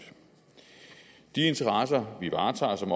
de interesser vi varetager som